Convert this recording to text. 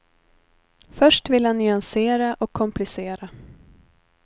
Först vill han nyansera och komplicera.